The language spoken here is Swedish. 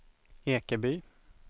Ekeby